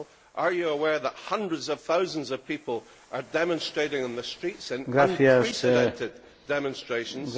Are you aware that hundreds of thousands of people are demonstrating on the streets in unprecedented demonstrations?